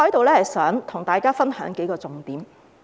我想在此分享當中數個重點。